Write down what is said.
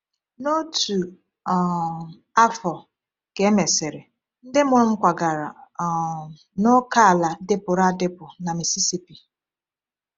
Na otu um afọ ka e mesịrị, ndị mụrụ m kwagara um n’ókèala dịpụrụ adịpụ na Mississippi.